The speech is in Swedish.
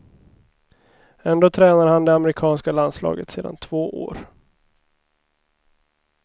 Ändå tränar han det amerikanska landslaget sedan två år.